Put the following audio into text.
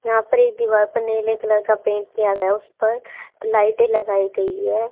यहां पर ये दीवार पे नीले कलर का पेंट किया गया उस पर लाइटें लगाई गई है।